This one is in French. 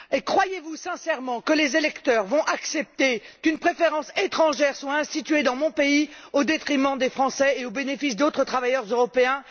Croyez vous sincèrement que les électeurs vont accepter qu'une préférence étrangère soit instituée dans mon pays au détriment des Français et au bénéfice d'autres travailleurs européens?